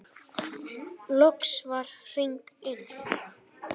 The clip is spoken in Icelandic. Loks var hringt inn.